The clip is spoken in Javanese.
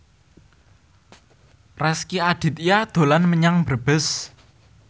Rezky Aditya dolan menyang Brebes